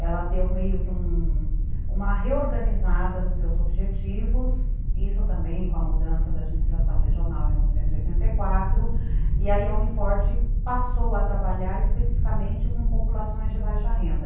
ela deu meio que uma reorganizada nos seus objetivos, isso também com a mudança da administração regional em novecentos e oitenta e quatro, e aí a Uni Forte passou a trabalhar especificamente com populações de baixa renda.